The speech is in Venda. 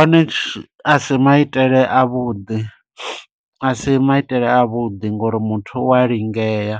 One asi maitele a vhuḓi, asi maitele a vhuḓi ngo uri muthu u a lingea.